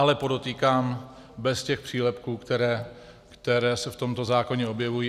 Ale podotýkám, bez těch přílepků, které se v tomto zákoně objevují.